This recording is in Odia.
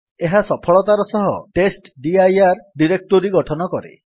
ଏହା ସଫଳତାର ସହ ଟେଷ୍ଟଡିର ଡିରେକ୍ଟୋରୀ ଗଠନ କରେ